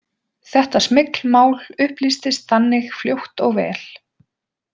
Þetta smyglmál upplýstist þannig fljótt og vel.